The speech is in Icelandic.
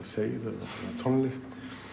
tónlist